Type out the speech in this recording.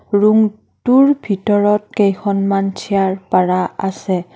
Room টোৰ ভিতৰত কেইখনমান চিয়াৰ পাৰা আছে।